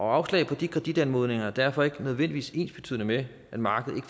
afslag på de kreditanmodninger er derfor ikke nødvendigvis ensbetydende med at markedet